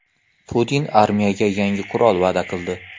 Putin armiyaga yangi qurol va’da qildi.